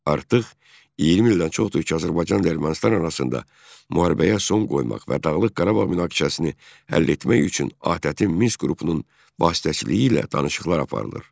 Artıq 20 ildən çoxdur ki, Azərbaycanla Ermənistan arasında müharibəyə son qoymaq və Dağlıq Qarabağ münaqişəsini həll etmək üçün ATƏT-in Minsk qrupunun vasitəçiliyi ilə danışıqlar aparılır.